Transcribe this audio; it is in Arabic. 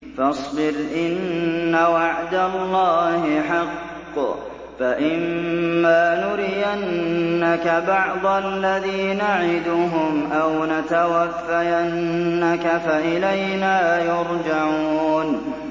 فَاصْبِرْ إِنَّ وَعْدَ اللَّهِ حَقٌّ ۚ فَإِمَّا نُرِيَنَّكَ بَعْضَ الَّذِي نَعِدُهُمْ أَوْ نَتَوَفَّيَنَّكَ فَإِلَيْنَا يُرْجَعُونَ